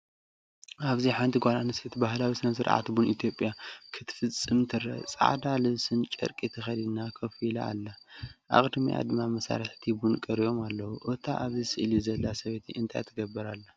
ኣብዚ ሓንቲ ጓል ኣንስተይቲ ባህላዊ ስነ-ስርዓት ቡን ኢትዮጵያ ክትፍጽም ትርአ። ጻዕዳ ልብስን ጨርቂ ተኸዲና ኮፍ ኢላ ኣላ፡ ኣብ ቅድሚኣ ድማ መሳርሒታት ቡን ቀሪቦም ኣለዉ። እታ ኣብዚ ስእሊ ዘላ ሰበይቲ እንታይ ትገብር ኣላ?